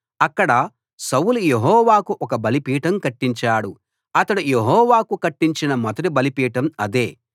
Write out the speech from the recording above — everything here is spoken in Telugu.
అక్కడ సౌలు యెహోవాకు ఒక బలిపీఠం కట్టించాడు అతడు యెహోవాకు కట్టించిన మొదటి బలిపీఠం అదే